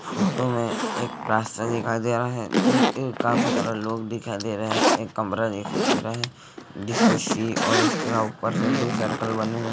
Photo मे एक रास्ता दिखाई दे रहा है इम्म काफी सारे लोग दिखाई दे रहे है एक कमरा दिखाई दे रहा है जिस पे सी और उसके ऊपर से दो सर्किल बने हुए है।